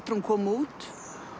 að hún kom út